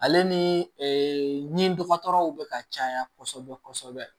Ale ni ɲi dɔgɔtɔrɔw bɛ ka caya kɔsɔbɛ kɔsɔbɛ